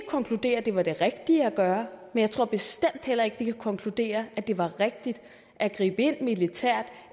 konkludere at det var det rigtige at gøre men jeg tror bestemt heller ikke vi kan konkludere at det var rigtigt at gribe ind militært